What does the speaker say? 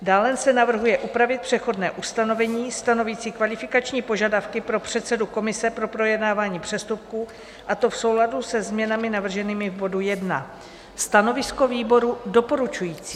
Dále se navrhuje upravit přechodné ustanovení stanovící kvalifikační požadavky pro předsedu komise pro projednávání přestupků, a to v souladu se změnami navrženými v bodu 1. Stanovisko výboru - doporučující.